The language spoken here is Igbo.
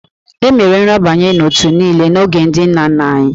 E mere nrabanye n'òtù niile n'oge ndị nna nna anyị